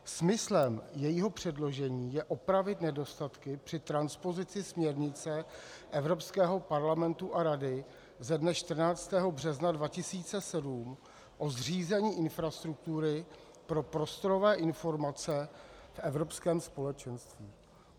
Smyslem jejího předložení je opravit nedostatky při transpozici směrnice Evropského parlamentu a Rady ze dne 14. března 2007 o zřízení infrastruktury pro prostorové informace v Evropském společenství.